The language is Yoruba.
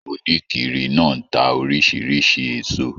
Onikiri náà n tá orisirisi èso